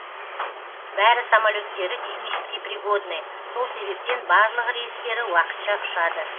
бәрі самолеттері технически пригодны сол себептен барлығы рейстері уақытша ұшады